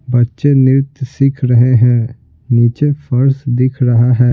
बच्चे नृत्य सीख रहे हैं नीचे फर्स दिख रहा है।